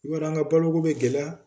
I b'a dɔn an ga boloko bɛ gɛlɛya.